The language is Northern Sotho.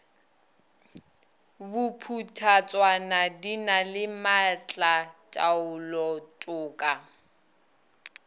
bophuthatswana di na le maatlataolotoka